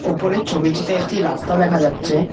উপরের ছবিটিতে একতি রাস্তা দেখা যাচ্ছে।